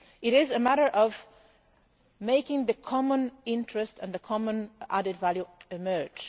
It is a matter of making the common interest and the common added value emerge.